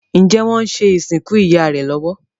Njé wón ṣe ìsìnkú ìyá rẹ lówó?